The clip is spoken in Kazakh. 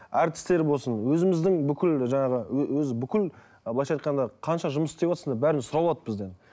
әртістер болсын өзіміздің бүкіл жаңағы өз бүкіл ы былайынша айтқанша қанша жұмыс істеватсыңдар бәрін сұрап алады бізден